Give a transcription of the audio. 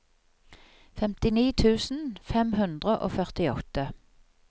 femtini tusen fem hundre og førtiåtte